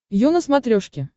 ю на смотрешке